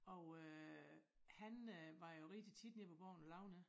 Og øh han øh var jo rigtig tit nede på borgen og lave noget